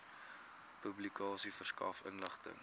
publikasie verskaf inligting